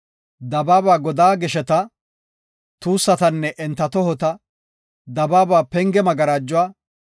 dabaaba godaa gesheta, tuussatanne enta tohota, dabaaba penge magarajuwa,